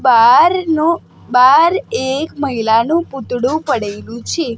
બારનુ બાર એક મહિલાનુ પૂતળુ પડેલુ છે.